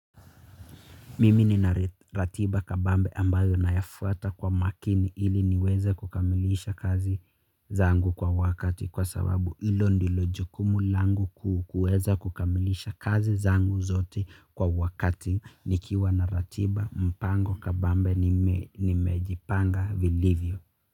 Mimi nina ratiba kabambe ambayo nayafuata kwa makini ili niweze kukamilisha kazi zangu kwa wakati kwa sababu ilo ndilo jukumu langu kuu kueza kukamilisha kazi zangu zote kwa wakati nikiwa na ratiba mpango kabambe nimejipanga vilivyo.